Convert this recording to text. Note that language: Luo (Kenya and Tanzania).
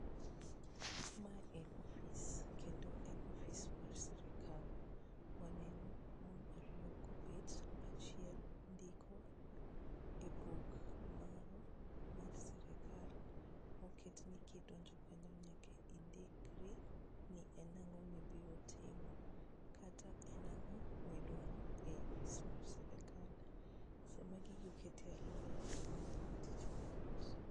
Mae en ofis kendo en ofis mar sirikal. Waneno mon ariyo kobet, achiel ndiko e buk moro mar sirikal moket ni kidonjo kanyo nyaka indikri ni en ang'o mibiro timo kata en ang'o midwaro e ofis mar sirikal. Sama gigi oket e alworawa miyowa tich mayot.